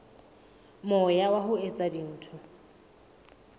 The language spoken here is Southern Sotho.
moya wa ho etsa dintho